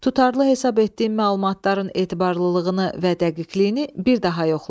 Tutarlı hesab etdiyin məlumatların etibarlılığını və dəqiqliyini bir daha yoxla.